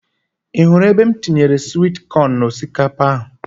Ị hụrụ ebe m tinyere swit kọn n'osikapa ahụ?